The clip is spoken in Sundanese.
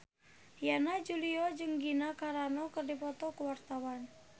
Yana Julio jeung Gina Carano keur dipoto ku wartawan